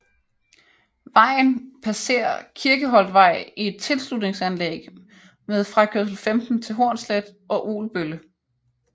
Vejen passer Kirkeholtvej i et tilslutningsanlæg med frakørsel 15 til Hornslet og Ugelbølle